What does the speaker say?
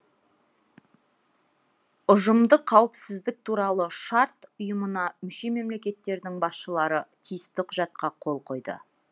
ұжымдық қауіпсіздік туралы шарт ұйымына мүше мемлекеттердің басшылары тиісті құжатқа қол қойды